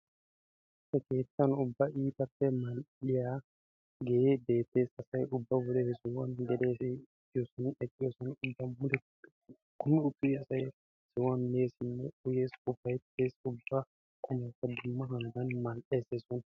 He keettan ubba iitappe mal"iyaage beettes. Asay ubba wode he sohuwan geliyoode eqqiyoosay, uttiyoosay kummi uttees. Ubba asay he sohuwan messinne uyyees ufayttees ubba qumaykka dumma hanotan mal"ees he soon.